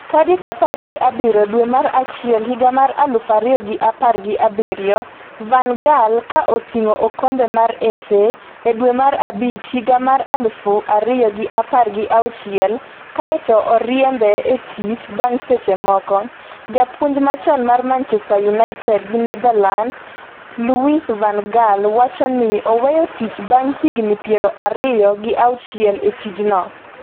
tarik apar gi abiriyo dwe mar achiel higa mar aluf ariyo gi apar gi abiriyo Van Gaal ka oting’o okombe mar FA e dwe mar abich higa mar aluf ariyo gi apar gi auchiel kae to oriembe e tich bang’ seche moko. Japuonj machon mar Manchester United gi Netherlands Louis van Gaal wacho ni oweyo tich bang' higni piero ariyo gi auchiel e tijno.